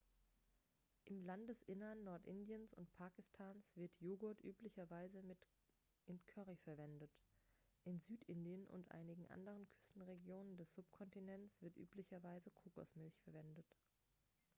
im landesinneren nordindiens und pakistans wird joghurt üblicherweise in currys verwendet in südindien und einigen anderen küstenregionen des subkontinents wird üblicherweise kokosmilch verwendet